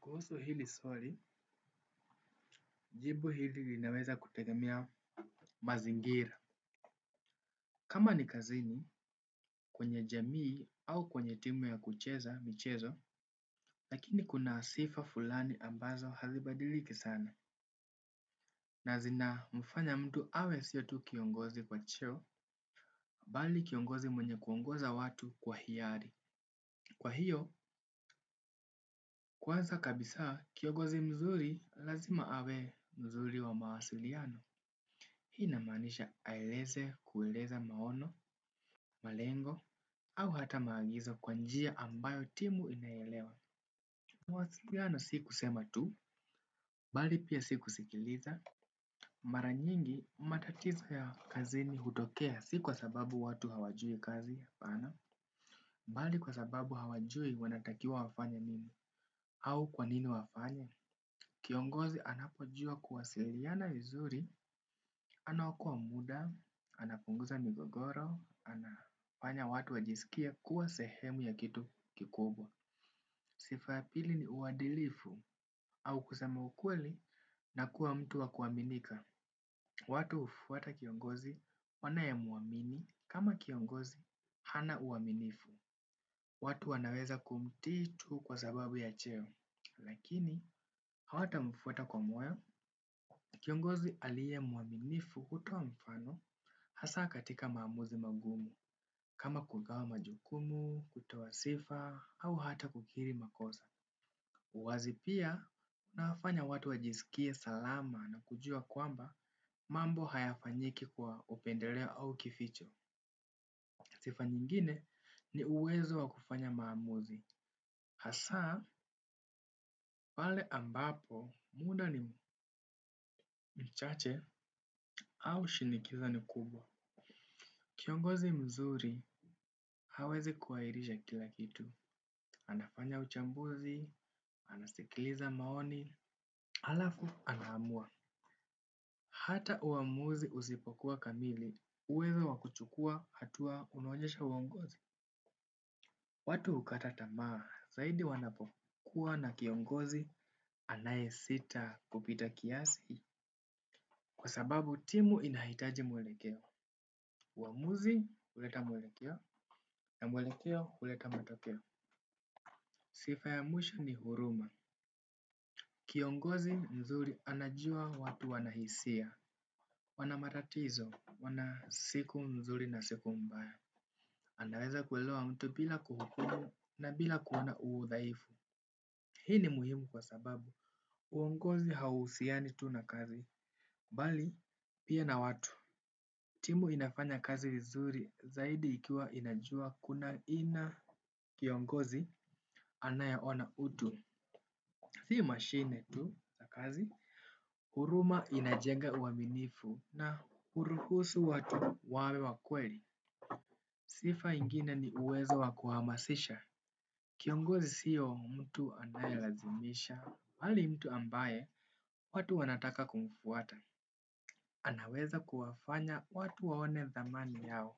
Kuhusu hili swali, jibu hili linaweza kutegemea mazingira. Kama ni kazini, kwenye jamii au kwenye timu ya kucheza michezo, lakini kuna sifa fulani ambazo hazibadiliki sana. Na zina mfanya mtu awe sio tu kiongozi kwa cheo, bali kiongozi mwenye kuongoza watu kwa hiari. Kwa hiyo, kwanza kabisa kiongozi mzuri lazima awe mzuri wa mawasiliano. Hii inamaanisha aeleze kueleza maono, malengo, au hata maagizo kwa njia ambayo timu inaelewa. Mawasiliano si kusema tu, bali pia si kusikiliza. Mara nyingi matatizo ya kazini hutokea si kwa sababu watu hawajui kazi hapana. Bali kwa sababu hawajui wanatakiwa wafanye nini au kwa nini wafanye. Kiongozi anapo jua kuwasiliana vizuri, anaokoa muda, anapunguza migogoro, anafanya watu wajisikie kuwa sehemu ya kitu kikubwa. Sifa ya pili ni uadilifu au kusema ukweli na kuwa mtu wa kuaminika. Watu hufuata kiongozi wanaye mwamini kama kiongozi hana uaminifu. Watu wanaweza kumtii tu kwa sababu ya cheo, lakini hawatamfuata kwa moyo, kiongozi aliye mwaminifu kutoa mfano, hasa katika maamuzi magumu, kama kugawa majukumu, kutoa sifa, au hata kukiri makosa. Uwazi pia unafanya watu wajisikie salama na kujua kwamba mambo hayafanyiki kwa upendeleo au kificho. Sifa nyingine ni uwezo wa kufanya maamuzi. Hasa pale ambapo muda ni mchache au shinikizo ni kubwa. Kiongozi mzuri hawezi kuairisha kila kitu. Anafanya uchambuzi, anasikiliza maoni, halafu anaamua. Hata uamuzi usipokuwa kamili, uwezo wa kuchukua hatua unaonyesha uongozi. Watu hukata tamaa, zaidi wanapokuwa na kiongozi anayesita kupita kiasi. Kwa sababu timu inahitaji mwelekeo. Uamuzi huleta mwelekeo, na mwelekeo huleta matokeo. Sifa ya mwisho ni huruma. Kiongozi mzuri anajua watu wana hisia. Wana matatizo, wana siku mzuri na siku mbaya. Anaweza kuelewa mtu bila kuhukumu na bila kuona udhaifu. Hii ni muhimu kwa sababu. Uongozi hauhusiani tu na kazi. Bali, pia na watu. Timu inafanya kazi vizuri zaidi ikiwa inajua kuna aina kiongozi anayeona utu. Si mashine tu za kazi. Huruma inajenga uaminifu na huruhusu watu wawe wa kweli. Sifa ingine ni uwezo wa kuhamasisha. Kiongozi sio mtu anayelazimisha, bali mtu ambaye watu wanataka kumfuata. Anaweza kuwafanya watu waone thamani yao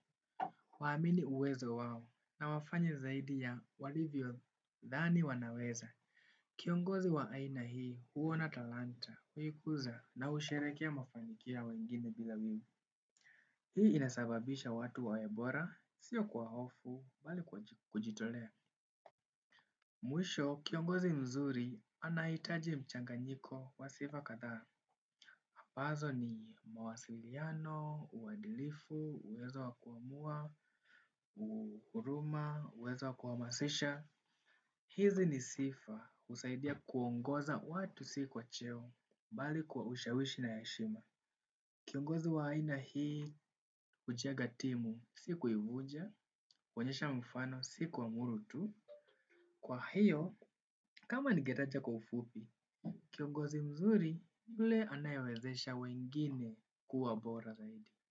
waamini uwezo wao na wafanye zaidi ya walivyodhani wanaweza. Kiongozi wa aina hii huona talanta huikuza na husherekea mafanikio ya wengine bila wivu, hii inasabaisha watu wawe bora sio kwa hofu. Bali kwa kujitolea. Mwisho, kiongozi mzuri anahitaji mchanganyiko wa sifa kadhaa. Ambazo ni mawasiliano, uadilifu, uwezo wa kuamua, uhuruma, uwezo wa kuhamasisha. Hizi ni sifa husaidia kuongoza watu si kwa cheo, bali kwa ushawishi na heshima. Kiongozi wa aina hii, hujenga timu, si kuivunja, huonyesha mfano, si kuamuru tu. Kwa hiyo kama ningetaja kwa ufupi, kiongozi mzuri ni yule anayewezesha wengine.